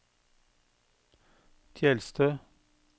Tjeldstø